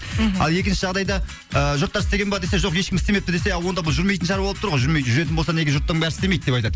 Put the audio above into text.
мхм ал екінші жағдайда ы жұрттар істеген бе десе жоқ ешкім істемепті десе а онда бұл жүрмейтін шаруа болып тұр ғой жүрмейді жүретін болса неге жұрттың бәрі істемейді деп айтады